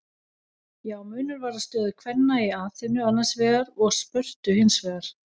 Já, munur var á stöðu kvenna í Aþenu annars vegar og Spörtu hins vegar.